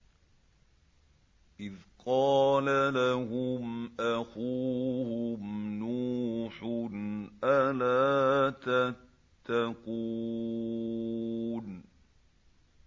إِذْ قَالَ لَهُمْ أَخُوهُمْ نُوحٌ أَلَا تَتَّقُونَ